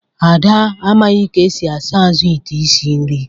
Ada amaghị ka esi asa azụ ite isi nri